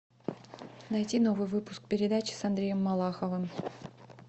найти новый выпуск передачи с андреем малаховым